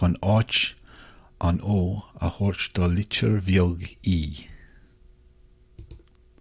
chun áit an o a thabhairt do litir bheag e